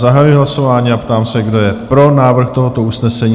Zahajuji hlasování a ptám se, kdo je pro návrh tohoto usnesení?